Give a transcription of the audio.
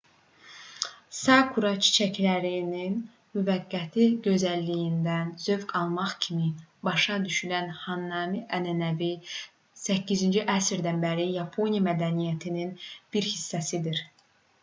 sakura çiçəklərinin müvəqqəti gözəlliyindən zövq almaq kimi başa düşülən hanami ənənəsi viii əsrdən bəri yapon mədəniyyətinin bir hissəsidir